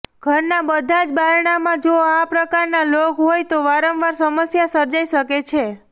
ઘરના બધા જ બારણામાં જો આ પ્રકારના લોક હોય તો વારંવાર સમસ્યા સર્જાઇ શકે છે